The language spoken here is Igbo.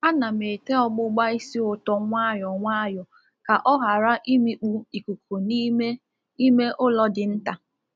Ana m ete ọgbụbá ísì ūtọ nwayọ nwayọ ka ọ ghara imikpu ikuku n’ime ime ụlọ dị nta.